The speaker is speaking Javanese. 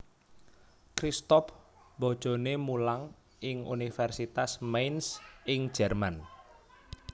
Christoph bojoné mulang ing Universitas Mainz ing Jerman